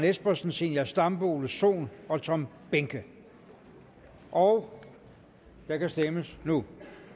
espersen zenia stampe ole sohn og tom behnke og der kan stemmes nu